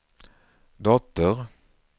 dotter